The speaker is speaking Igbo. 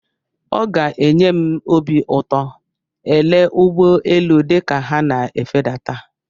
Ọ ga-enye m obi ụtọ ele ụgbọ elu dịka ha na-efedata.